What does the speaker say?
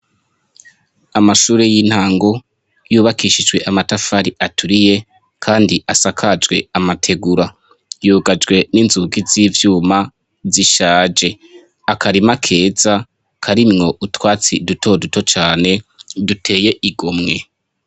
Amashure y'intango yubakishijwe amatafari aturiye kandi asakajwe amategura yugajwe n'inzugi z'ivyuma zishaje. Akarima keza karimwo utwatsi dutoduto cane duteye igomwe.